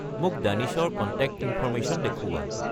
মোক দানিছৰ contact information দেখুওৱা